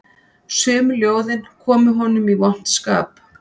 Sum ljóðin komu honum í vont skap